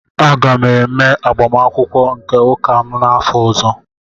Aga m eme agbamakwụkwọ nke ụka m n'afọ ọzọ